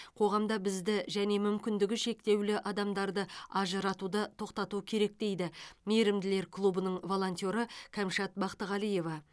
қоғамда бізді және мүмкіндігі шектеулі адамдарды ажыратуды тоқтату керек дейді мейірімділер клубының волонтеры кәмшат бақтығалиева